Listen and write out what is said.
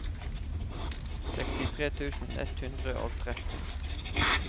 sekstitre tusen ett hundre og tretten